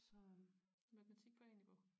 Så matematik på A-niveau